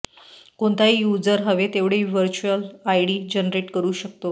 कोणताही युजर हवे तेवढे व्हर्चुअल आयडी जनरेट करु शकतो